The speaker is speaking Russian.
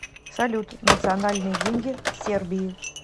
салют национальные деньги в сербии